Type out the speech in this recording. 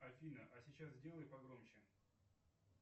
афина а сейчас сделай погромче